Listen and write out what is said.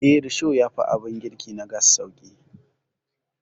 Eh, risho yafi abin girki na gas sauƙi.